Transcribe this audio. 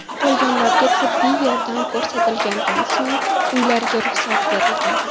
Qolganlarga tibbiy yordam ko‘rsatilganidan so‘ng, uylariga ruxsat berilgan.